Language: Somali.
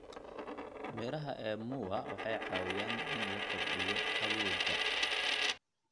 Midhaha ee muwa waxay caawiyaan in la kordhiyo awoodda.